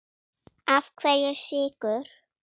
Af hverju Sykur?